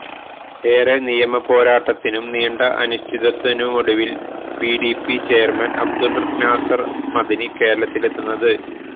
ഏറെ നിയമപോരാട്ടത്തിനും നീണ്ട അനിശ്ചതത്വത്തിനുമൊടുവില് പിഡിപി ചെയര്മാന് അബ്ദുള് നാസര് മഅ്ദനി കേരളത്തിലെത്തുന്നത്